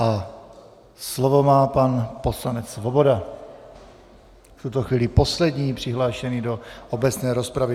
A slovo má pan poslanec Svoboda, v tuto chvíli poslední přihlášený do obecné rozpravy.